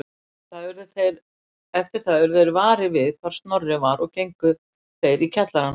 Eftir það urðu þeir varir við hvar Snorri var og gengu þeir í kjallarann